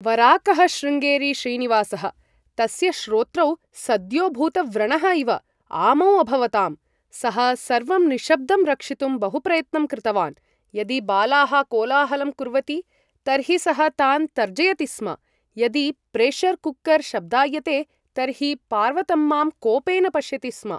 वराकः श्रुङेरी श्रीनिवासः! तस्य श्रोत्रौ, सद्योभूतव्रणः इव, आमौ अभवताम्। सः सर्वं निःशब्दं रक्षितुं बहुप्रयत्नं कृतवान्। यदि बालाः कोलाहलं कुर्वति, तर्हि सः तान् तर्जयति स्म। यदि प्रेशर् कुकर् शब्दायते, तर्हि पार्वतम्मां कोपेन पश्यति स्म।